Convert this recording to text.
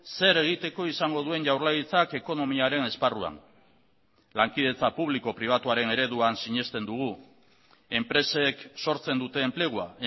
zer egiteko izango duen jaurlaritzak ekonomiaren esparruan lankidetza publiko pribatuaren ereduan sinesten dugu enpresek sortzen dute enplegua